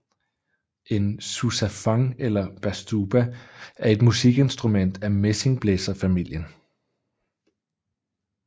En Sousafon eller Bastuba er et musikinstrument af messingblæserfamilien